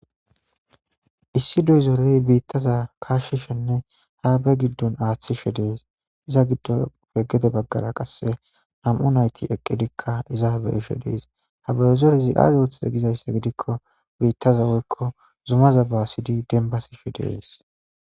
issi doyzorey biittaza kaashshishenne ha be giddon aaththishe dees iza giddo peggede baggara qasse nam'u nayti eqqidikka iza be ishe dees ha beyezerezi aazi woththize gizaysse gidikko biittaza woykko zumaza basidi denbasishe dees